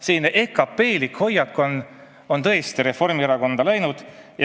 Selline EKP-lik hoiak on tõesti Reformierakonda sisse läinud.